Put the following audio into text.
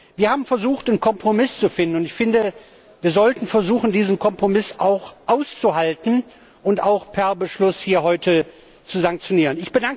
Wir haben versucht, einen Kompromiss zu finden, und ich finde, wir sollten versuchen, diesen Kompromiss auch auszuhalten und auch per Beschluss hier heute zu sanktionieren.